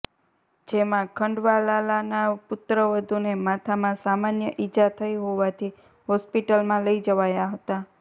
જેમાં ખંડવાલાલાના પુત્રવધૂને માથામાં સામાન્ય ઇજા થઇ હોવાથી હોસ્પિટલમાં લઇ જવાયા હતા